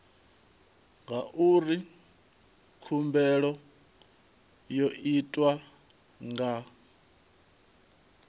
ngauri khumbelo yo itwa nga